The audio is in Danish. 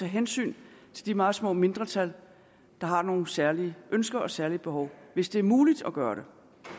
hensyn til de meget små mindretal der har nogle særlige ønsker og særlige behov hvis det er muligt at gøre det